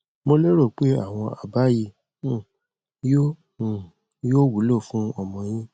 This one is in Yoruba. mo lérò pé àwọn àbá yìí um yóò um yóò wúlò fún ọmọ yín